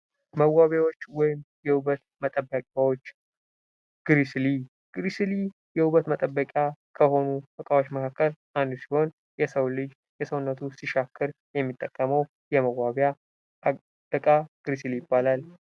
መዋቢያዎች ወይም የውበት መጠበቂያዎች ግሪሲሊ፤ ግሪሲሊ የውበት መጠበቂያ ከሆኑ ዕቃዎች መካከል አንዱ ሲሆን የሰው ልጅ የሰውነቱ ሲሻክር የሚጠቀመው የመዋቢያ እቃ ግሪሲሊ ይባላል።